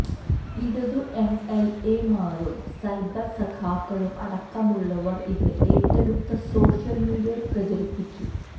ഇടതു എംഎൽഎമാരും സൈബർ സഖാക്കളും അടക്കമുള്ളവർ ഇത് ഏറ്റെടുത്ത് സോഷ്യൽ മീഡിയയിൽ പ്രചരിപ്പിച്ചു